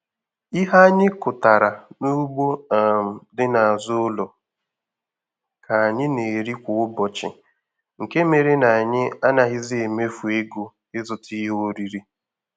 Ihe anyị kụtara n'ugbo um dị n'azụ ụlọ ka anyị na-eri kwa ụbọchị nke mere na anyị anaghịzị emefu ego ịzụta ihe oriri.